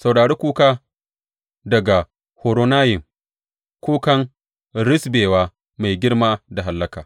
Saurari kuka daga Horonayim, kukan risɓewa mai girma da hallaka.